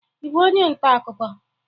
Ị bụ onye nta akụkọ?